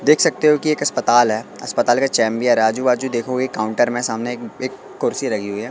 देख सकते हो कि एक अस्पताल है अस्पताल का है चेम्बियार आजू बाजू देखोगे काउंटर में सामने एक कुर्सी लगी हुई है।